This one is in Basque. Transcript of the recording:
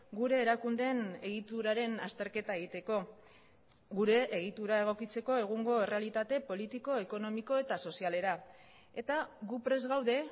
gure erakundeen egituraren azterketa egiteko gure egitura egokitzeko egungo errealitate politiko ekonomiko eta sozialera eta gu prest gaude